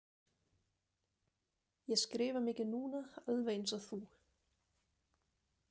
Ég skrifa mikið núna, alveg einsog þú.